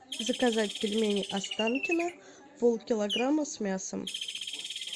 заказать пельмени останкино полкилограмма с мясом